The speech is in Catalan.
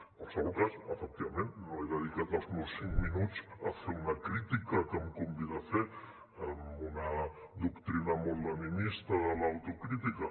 en qualsevol cas efectivament no he dedicat els meus cinc minuts a fer una crítica que em convida a fer amb una doctrina molt leninista de l’autocrítica